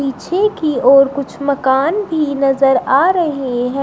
पीछे की ओर कुछ मकान भी नजर आ रहे हैं।